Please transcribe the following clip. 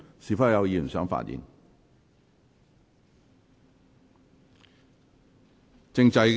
是否有議員想發言？